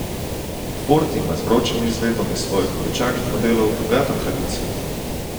Ford ima z vročimi izvedbami svojih običajnih modelov bogato tradicijo.